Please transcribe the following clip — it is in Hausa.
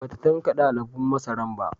Ba ta tankade alubon masaran ba